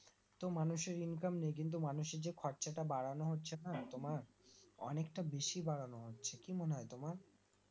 তো মানুষের Income নেই কিন্তু মানুষের যে খরচা টা বাড়ানো হচ্ছে না তোমার অনেকটা বেশি বাড়ানো হচ্ছে কি মনেহয় তোমার